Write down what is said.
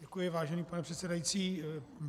Děkuji, vážený pane předsedající.